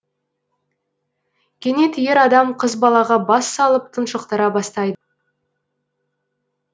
кенет ер адам қыз балаға бас салып тұншықтыра бастайды